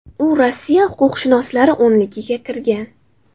U Rossiya huquqshunoslari o‘nligiga kirgan.